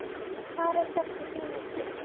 Farið hvort í sína áttina.